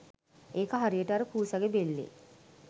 ඒක හරියට අර පූසගේ බෙල්ලේ